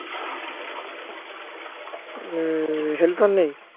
উম helper নেই